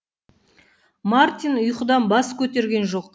мартин ұйқыдан бас көтер